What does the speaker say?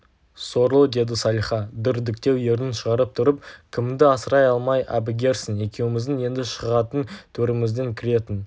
сорлы деді салиха дүрдіктеу ернін шығарып тұрып кіміңді асырай алмай әбігерсің екеуміздің енді шығатын төрімізден кіретін